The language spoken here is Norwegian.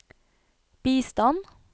bistand